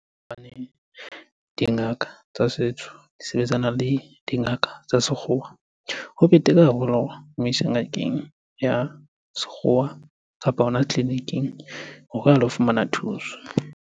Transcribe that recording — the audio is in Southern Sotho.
Hobane dingaka tsa setso di sebetsana le dingaka tsa sekgowa. Ho betere haholo hore o mo ise ngakeng ya sekgowa kapa hona tleliniking hore a lo fumana thuso.